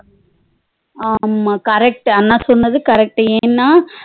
ஆமா correct அண்ணா சொன்னது correct ஏனா